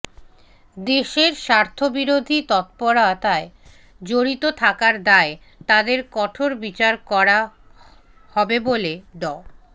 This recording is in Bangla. দেশের স্বার্থবিরোধী তৎপরতায় জড়িত থাকার দায়ে তাদের কঠোর বিচার করা হবে বলে ড